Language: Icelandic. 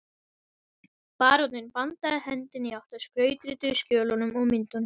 Baróninn bandaði hendi í átt að skrautrituðu skjölunum og myndunum